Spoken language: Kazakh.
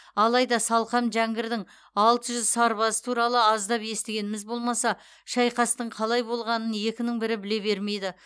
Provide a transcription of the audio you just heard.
алайда салқам жәңгірдің алты жүз сарбазы туралы аздап естігеніміз болмаса шайқастың қалай болғанын екінің бірі біле бермейді